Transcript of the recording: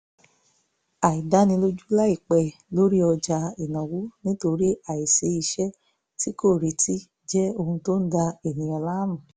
àìdánilójú láìpẹ́ lórí ọjà ìnáwó nítorí àìsí iṣẹ́ tí kò retí jẹ́ ohun tó ń da èèyàn láàmú